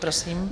Prosím.